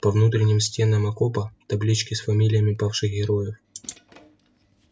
по внутренним стенам окопа таблички с фамилиями павших героев